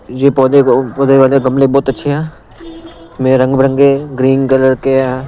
ये पौधे को पौधे वाले गमले बहुत अच्छे हैं मैं रंग बरंगे ग्रीन कलर के हैं।